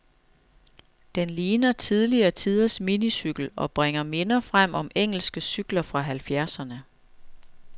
Den ligner tidligere tiders minicykel, og bringer minder frem om engelske cykler fra halvfjerdserne.